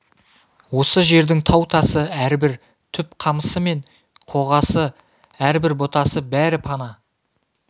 осы жердің тау-тасы әрбір түп қамысы мен қоғасы әрбір бұтасы бәрі пана